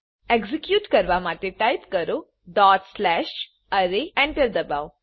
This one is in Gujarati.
એક્ઝેક્યુટ કરવા માટે ટાઈપ કરો ડોટ સ્લેશ અરે એન્ટર દબાવો